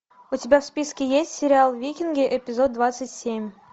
у тебя в списке есть сериал викинги эпизод двадцать семь